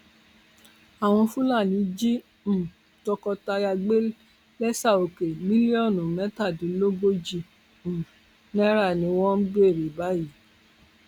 àwọn fúlàní jí um tọkọtìyàwó gbé lẹsàòkè mílíọnù mẹtàdínlógójì um náírà ni wọn ń béèrè báyìí